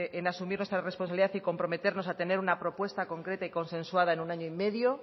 en asumir nuestra responsabilidad y comprometernos a tener una propuesta concreta y consensuada en año y medio